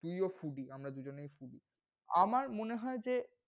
তুইও foody আমরা দুজনেই foody আমার মনে হয় যে,